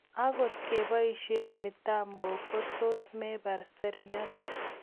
angot kebaishe mitambok kotus mepar seriat